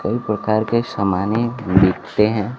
कई प्रकार के सामाने दिखते हैं।